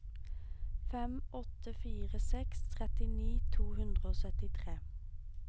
fem åtte fire seks trettini to hundre og syttitre